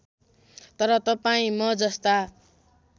तर तपाईँ म जस्ता